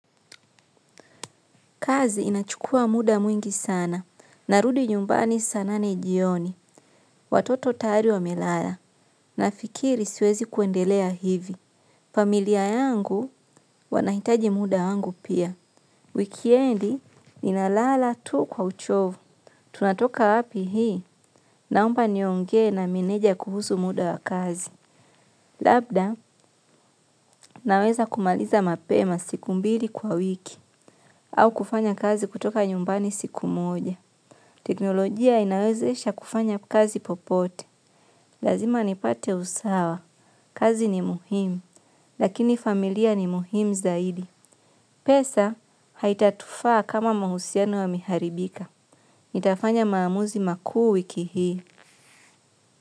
Kazi inachukua muda mwingi sana narudi nyumbani saa nane jioni watoto tayari wamelala nafikiri siwezi kuendelea hivi. Familia yangu wanahitaji muda wangu pia. Wikendi ninalala tu kwa uchovu, tunatoka wapi hii, naomba niongee na meneja kuhusu muda wa kazi. Labda, naweza kumaliza mapema siku mbili kwa wiki, au kufanya kazi kutoka nyumbani siku moja. Teknolojia inawezesha kufanya kazi popote. Lazima nipate usawa. Kazi ni muhimu. Lakini familia ni muhimu zaidi. Pesa haitatufaa kama mahusiano yame haribika nitafanya maamuzi makuu wiki hii.